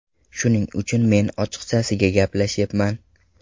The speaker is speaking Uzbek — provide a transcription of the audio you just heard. Shuning uchun men ochiqchasiga gaplashyapman.